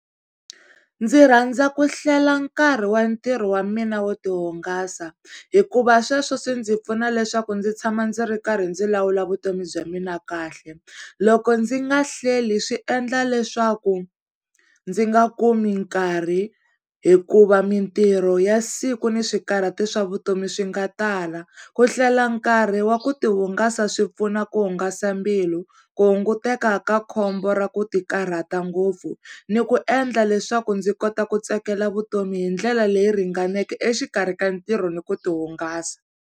Ndzi rhandza ku hlela nkarhi wa ntirho wa mina wo tihungasa, hikuva sweswo swi ndzi pfuna leswaku ndzi tshama ndzi ri karhi ndzi lawula vutomi bya mina kahle. Loko ndzi nga hleli swi endla leswaku ndzi nga kumi nkarhi hikuva mintirho ya siku ni swikarhati swa vutomi swi nga tala. Ku hlela nkarhi wa ku tihungasa swipfuna ku hungasa mbilu, ku hunguteka ka khombo ra ku ti karhata ngopfu ni ku endla leswaku ndzi kota ku tsakela vutomi hi ndlela leyi ringaneke exikarhi ka ntirho ni ku ti hungasa.